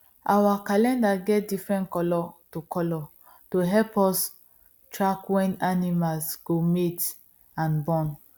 our calendar get different colour to colour to help us track when animals go mate and born